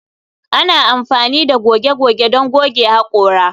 Ana amfani da goge goge don goge haƙora